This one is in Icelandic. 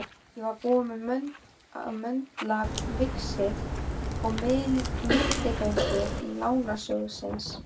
Ég var búinn að möndla víxil með milligöngu Lánasjóðsins.